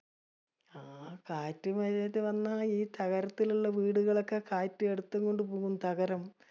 ആഹ് കാറ്റും മഴയൊക്കെ വന്ന ഈ തകരത്തിലുള്ള വീടുകളൊക്കെ കാറ്റ് എടുത്തുകൊണ്ട് പോകും. തകരം.